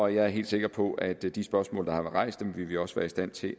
jeg er helt sikker på at de de spørgsmål der har været rejst vil vi også være i stand til